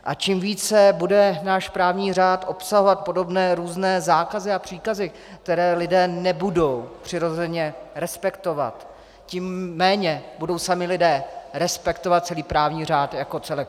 A čím více bude náš právní řád obsahovat podobné různé zákazy a příkazy, které lidé nebudou přirozeně respektovat, tím méně budou sami lidé respektovat celý právní řád jako celek.